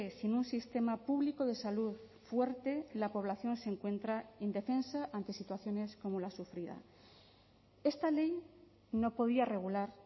sin un sistema público de salud fuerte la población se encuentra indefensa ante situaciones como la sufrida esta ley no podía regular